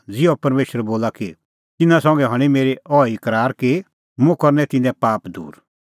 ज़िहअ परमेशर बोला कि तिन्नां संघै हणीं मेरी अहैई करार कि मुंह करनै तिन्नें पाप दूर